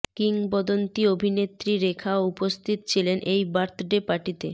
কিংবদন্তী অভিনেত্রী রেখাও উপস্থিত ছিলেন এই বার্থ ডে পার্টিতে